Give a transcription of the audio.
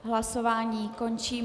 Hlasování končím.